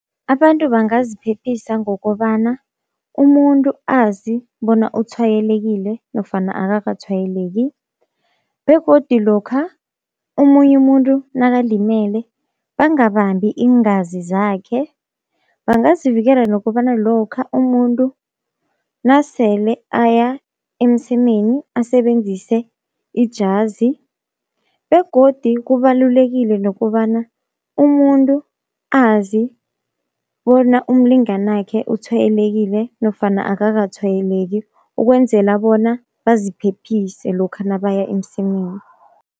Abantu bangaziphephisa ngokobana umuntu azi bona utshwayelekile nofana akakatshwayeleki, begodi lokha omunye umuntu nakalimele bangabambi iingazi zakhe. Bangazivikela nokobana lokha umuntu nasele aya emsemeni asebenzise ijazi, begodi kubalulekile nokobana umuntu azi bona umlingani wakhe utshwayelekile nofana akakatshwayeleki, ukwenzela bona baziphephise lokha nabaya emsemeni.